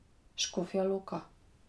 Škofja Loka.